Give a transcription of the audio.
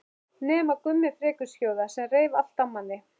Nema Gummi frekjuskjóða sem reif allt af manni.